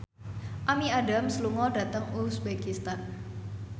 Amy Adams lunga dhateng uzbekistan